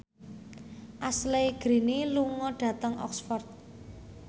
Ashley Greene lunga dhateng Oxford